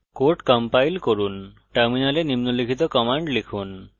code compile করুন টার্মিনালে নিম্নলিখিত কমান্ড লিখুন